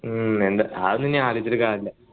ഉം അതൊന്നും ഇനി ആലോചിച്ചിട്ട് കാര്യമില്ല